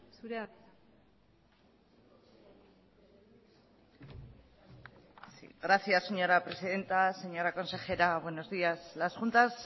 zurea da hitza gracias señora presidenta señora consejera buenos días las juntas